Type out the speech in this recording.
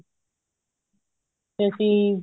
ਵੀ ਅਸੀਂ